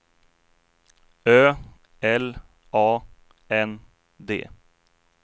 Ö L A N D